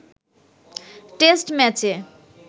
test ম্যাচে